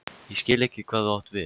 Ég skil ekki hvað þú átt við?